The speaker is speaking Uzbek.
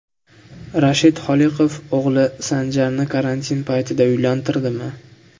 Rashid Holiqov o‘g‘li Sanjarni karantin paytida uylantirdimi?.